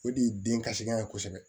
O de ye den kasilan ye kosɛbɛ